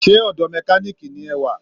Sé ọdọ̀ mẹkáníìkì ni ẹ wà